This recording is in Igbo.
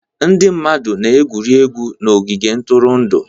Ndị mmadụ na-egwu egwuregwu n'ogige ntụrụndụ.